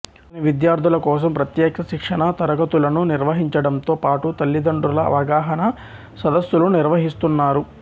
అతను విద్యార్థుల కోసం ప్రత్యేక శిక్షణా తరగతులను నిర్వహింంచడంతోపాటు తల్లిదండ్రుల అవగాహనా సదస్సుసులు నిర్వహిస్తున్నారు